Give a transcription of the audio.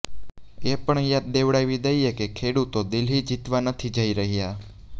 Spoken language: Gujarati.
એ પણ યાદ દેવડાવી દઈએ કે ખેડૂતો દિલ્હી જીતવા નથી જઈ રહ્યા